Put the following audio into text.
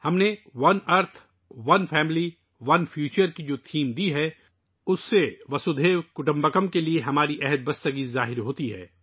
ہم نے ، جو موضوع دیا ہے ،'' ایک زمین، ایک خاندان، ایک مستقبل ''، وہ ہمارے واسو دیوا کٹمبکم کے عہد کا اظہار کرتا ہے